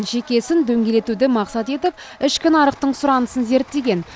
жеке ісін дөңгелетуді мақсат етіп ішкі нарықтың сұранысын зерттеген